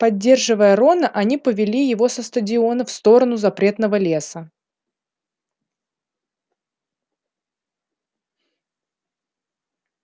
поддерживая рона они повели его со стадиона в сторону запретного леса